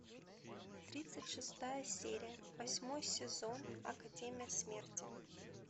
тридцать шестая серия восьмой сезон академия смерти